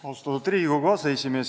Austatud Riigikogu aseesimees!